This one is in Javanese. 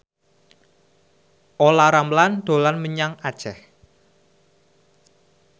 Olla Ramlan dolan menyang Aceh